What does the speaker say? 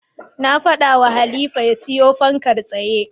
Na faɗawa Halifa ya siyo fankar tsaye.